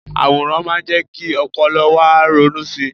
àwòrán má ń jé kí ọpọlọ wa ronú sí